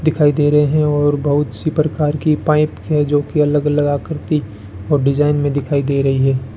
दिखाई दे रहे हैं और बहुत सी प्रकार की पाइप है जो कि अलग अलग लगा करती और डिजाइन में दिखाई दे रही है।